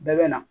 Bɛɛ bɛ na